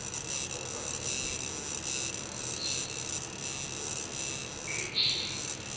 okwasendulo okubaziwe okudwetshiwe